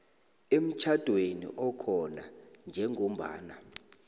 emtjhadweni okhona njengombana